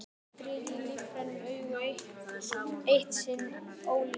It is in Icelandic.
Það glittir í lífræn augu, eitt sinn ólífræn mér.